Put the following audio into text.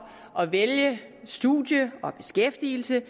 at vælge studie og beskæftigelse